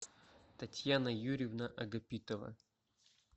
татьяна юрьевна агапитова